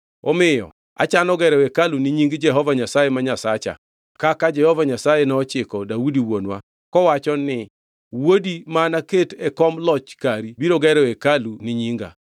Omiyo achano gero hekalu ni Nying Jehova Nyasaye ma Nyasacha kaka Jehova Nyasaye nochiko Daudi wuonwa kowacho ni, ‘Wuodi ma anaketi e kom loch kari biro gero hekalu ni Nyinga.’